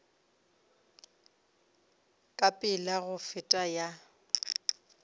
ka pela go feta ya